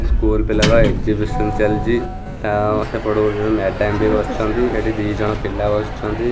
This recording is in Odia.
ସ୍କୁଲ୍ ପିଲାର ଏକ୍ଜିବିସନ ଚାଲିଚି ତାଅ ସେପଟେ ଗୋଟେ ଗୋଟେ ମ୍ଯାଡାମ୍ ବି ବସିଛନ୍ତି ଏଠି ଦି ଜଣ ପିଲା ବସିଛନ୍ତି।